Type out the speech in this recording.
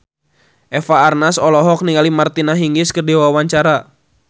Eva Arnaz olohok ningali Martina Hingis keur diwawancara